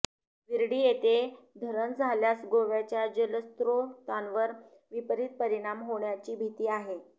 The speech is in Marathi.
विर्डी येथे धरण झाल्यास गोव्याच्या जलस्त्रोतांवर विपरित परिणाम होण्याची भीती आहे